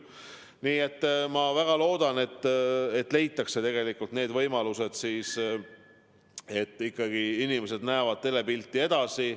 Nii et ma väga loodan, et leitakse võimalus, et kõik inimesed näevad telepilti edasi.